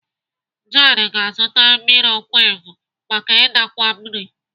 Jared ga-azụta mikrowevu maka idakwa nri.